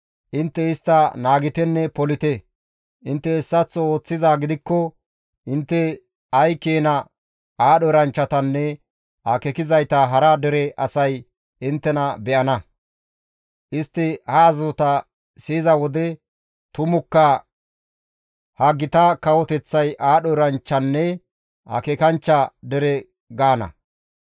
Intte istta naagitenne polite; intte hessaththo ooththizaa gidikko intte ay keena aadho eranchchatanne akeekizayta hara dere asay inttena be7ana; istti ha azazota siyiza wode, ‹Tumukka ha gita kawoteththay aadho eranchchanne akeekanchcha dere› gaana.